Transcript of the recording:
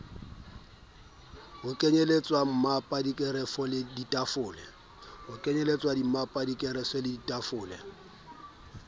ho kenyelletswa mmapa dikerafo ditafole